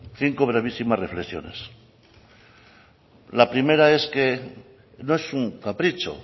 cinco brevísimas reflexiones la primera es que no es un capricho